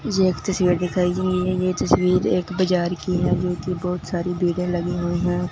ये एक तस्वीर दिखाई गई है ये तस्वीर एक बाजार की है जोकि बहुत सारी भीड़े लगी हुई हैं।